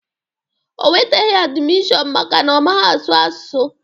O nweteghi admishọn maka na ọ maghị asụ asụsụ